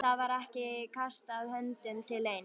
Það var ekki kastað höndum til neins.